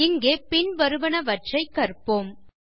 இங்கே பின்வருவனவற்றைக் கற்போம் 4